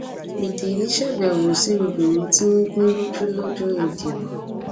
pétérì ṣàbẹwò sí obìnrin tí wọn gún lójú lọjọ ìdìbò